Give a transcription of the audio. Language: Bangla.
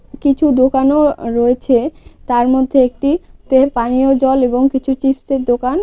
কিছু দোকানও আঃ রয়েছে তার মধ্যে একটিতে পানীয় জল এবং কিছু চিপসের দোকান.